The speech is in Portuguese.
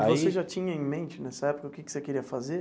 Aí. Você já tinha em mente, nessa época, o que que você queria fazer?